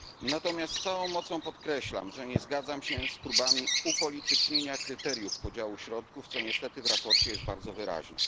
Natomiast z całą mocą podkreślam, że nie zgadzam się z próbami upolitycznienia kryteriów podziału środków, co niestety w sprawozdaniu jest bardzo wyraźne.